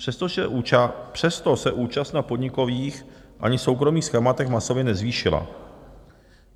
Přesto se účast na podnikových ani soukromých schématech masově nezvýšila.